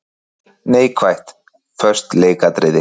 Neikvætt:- Föst leikatriði.